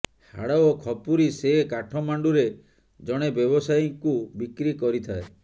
ହାଡ ଓ ଖପୁରୀ ସେ କାଠମାଣ୍ଡୁରେ ଜଣେ ବ୍ୟବସାୟୀଙ୍କୁ ବିକ୍ରି କରିଥାଏ